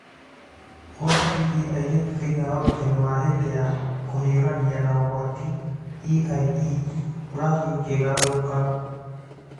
Ũhoro wĩgiĩ airĩtu thĩinĩ wa Ũrutani wa hĩndĩ ya kũhiũrania na ũgwati (EiE) ũrathiĩ ũkĩgarũrũkaga